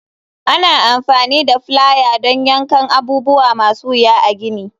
Ana amfani da plier don yankan abubuwa masu wuya a gini.